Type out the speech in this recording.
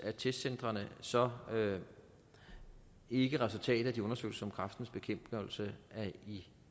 af testcentrene så ikke resultatet af de undersøgelser som kræftens bekæmpelse er i